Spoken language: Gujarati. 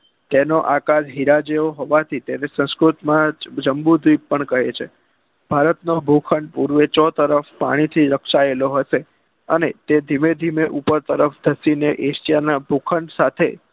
તેનોઆકાર હીરા જેવો હવાથી તેને સંસ્કૃતમાં તેને જમ્બૂદીપ કહે છે ભારતનો ભૂખંડ પુર્વચો તરફ આનેથી રક્ષાએલો હોય છે અને તે ધીમેધીમે ઉપર તરફ ખસીને ભૂખંડ સાથે